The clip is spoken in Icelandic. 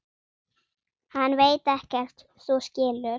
Hann veit ekkert. þú skilur.